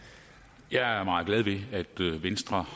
jeg at venstre